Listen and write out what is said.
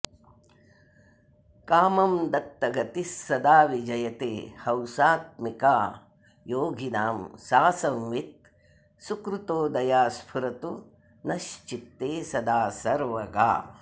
कामं दत्तगतिः सदा विजयते हंसात्मिका योगिनां सा संवित् सुकृतोदया स्फुरतु नश्चित्ते सदा सर्वगा